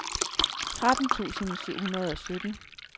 tretten tusind syv hundrede og sytten